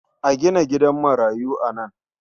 A gina gidan marayu a nan.